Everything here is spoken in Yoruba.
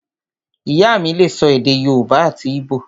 Ìyá mí lè sọ èdè yóòbá àti íbò